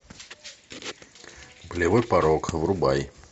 болевой порог врубай